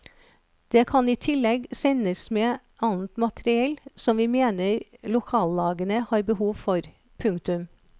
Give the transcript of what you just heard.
Det kan i tillegg sendes med annet materiell som vi mener lokallagene har behov for. punktum